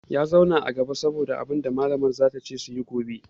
Ya zauna a gaba dan yaji abunda malamar za ta ce musu suyi gobe